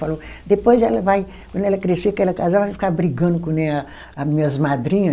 Falou, depois ela vai, quando ela crescer, que ela casar, vai ficar brigando que nem a, a minhas madrinha.